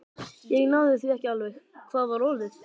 Ég náði því ekki alveg: hvað var orðið?